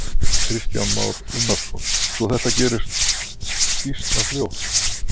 Kristján Már Unnarsson: Svo þetta gæti gerst býsna fljótt?